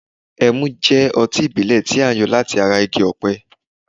ẹmu jẹ́ ọtí ìbílè ti a yo lati ata igi òpẹ